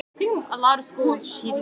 Hann verður alveg ringlaður.